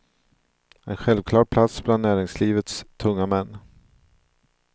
En självklar plats bland näringslivets tunga män.